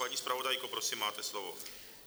Paní zpravodajko, prosím, máte slovo.